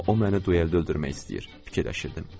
Amma o məni dueldə öldürmək istəyir, fikirləşirdim.